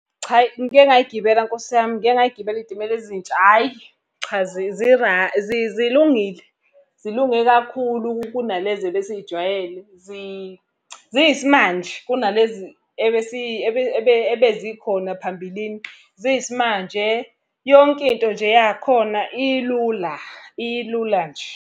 Cha hhayi ngike ngay'gibela Nkosi yami, ngike ngay'gibela iy'timela ezintsha hhayi. Cha zilungile, zilunge kakhulu kunalezi ebesiy'jwayele, ziyisimanje kunalezi ebezikhona phambilini. Ziyisimanje, yonke into nje yakhona ilula ilula nje.